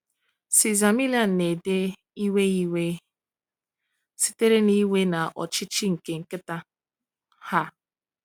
"Cesar Millan na-ede, 'iwe 'iwe sitere na iwe na ọchịchị nke nkịta.'" um